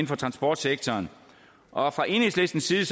for transportsektoren og fra enhedslistens side